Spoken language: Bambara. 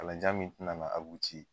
Kalanjan min tɛna na